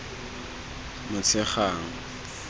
motshegang